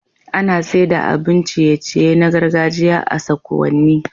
Ana saida abun ciye ciye na gargajiya a sakuwanni